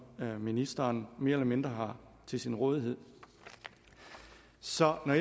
ministeren mere eller mindre har til sin rådighed så når